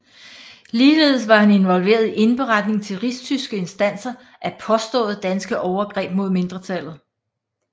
Ligeledes var han involveret i indberetningen til rigstyske instanser af påståede danske overgreb mod mindretallet